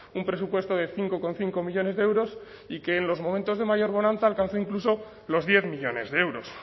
un presupuesto de cinco coma cinco millónes de euros y que en los momentos de mayor bonanza alcanza incluso los diez millónes de euros